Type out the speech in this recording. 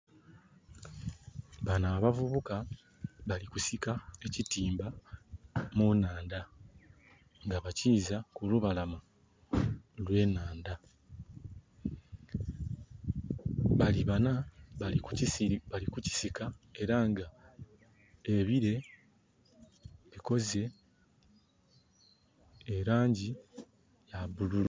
Bano abavubuka bali kusika ekitimba mu naandha nga bakiza kulubalama olwe naandha. Bali bana bali kukisika era nga ebire bikoze elangi ya bululu